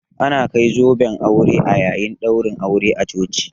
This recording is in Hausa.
Ana kai zoben aure a yayin ɗaurin aure a coci